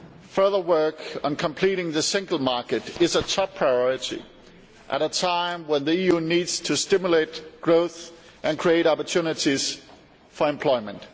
Further work on completing the single market is a top priority at a time when the EU needs to stimulate growth and create opportunities for employment.